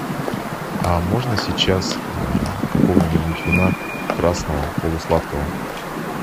а можно сейчас какого нибудь вина красного полусладкого